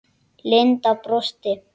Linda brosti.